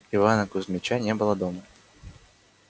ивана кузмича не было дома